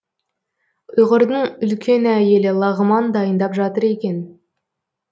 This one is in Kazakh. ұйғырдың үлкен әйелі лағман дайындап жатыр екен